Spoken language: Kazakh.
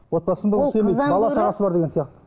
отбасын бала шағасы бар деген сияқты